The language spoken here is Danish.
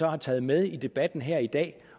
har taget med i debatten her i dag